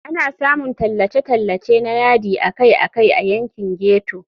Ana samun tallace-tallace na yadi akai-akai a yankin ghetto.